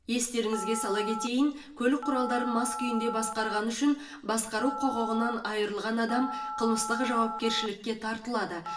естеріңізге сала кетейін көлік құралдарын мас күйінде басқарғаны үшін басқару құқығынан айырылған адам қылмыстық жауапкершілікке тартылады